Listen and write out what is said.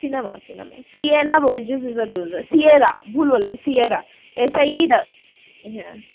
cinema~ cinema Sieana Burgess is a loser Sierra ভুল বললাম Sierra Burgess Is a Loser